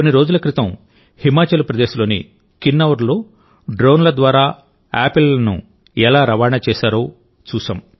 కొన్ని రోజుల క్రితం హిమాచల్ ప్రదేశ్లోని కిన్నౌర్లో డ్రోన్ల ద్వారా ఆపిల్లను ఎలా రవాణా చేశారో చూశాం